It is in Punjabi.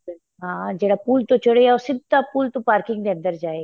ਹਾਂ ਜਿਹੜਾ ਪੁੱਲ ਤੋ ਚੜਿਆ ਉਹ ਸਿੱਧਾ ਪੁੱਲ ਤੋ parking ਦੇ ਅੰਦਰ ਜਾਏਗਾ